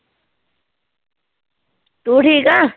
ਤੂੰ ਠੀਕ ਆਂ